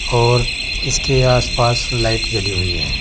और इसके आस पास लाइट जली हुई है।